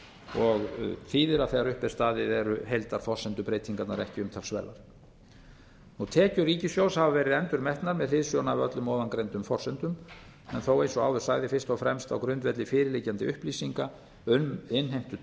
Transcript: og þýðir að þegar upp er staðið eru heildarforsendubreytingarnar ekki umtalsverðar tekjur ríkissjóðs hafa verið endurmetnar með hliðsjón af öllum ofangreindum forsendum en þó eins og áður sagði fyrst og fremst á grundvelli fyrirliggjandi upplýsinga um innheimtu